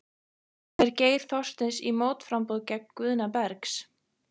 Fer Geir Þorsteins í mótframboð gegn Guðna Bergs?